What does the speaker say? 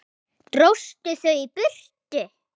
Lóa: Dróstu þau í burtu?